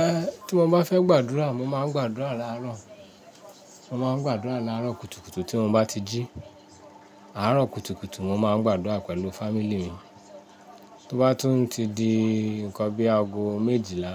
Eh, tí mo bá fẹ́ gbàdúrà, mo máa ń gbàdúrà láàárọ̀. Mo máa ń gbàdúrà lárọ̀ kùtùkùtù tí mo bá ti jí. Aro kùtùkùtù mo máa ń gbàdúrà pẹ̀lú family mi tó bá tún ti di nǹkan bí aago méjìlá,